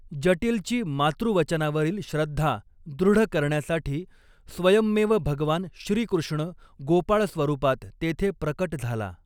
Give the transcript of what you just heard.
जटीलची मातृवचनावरील श्रद्धा दृढ करण्यासाठी स्वयंमेव भगवान श्रीकृष्ण गोपाळ स्वरूपात तेथे प्रकट झाला.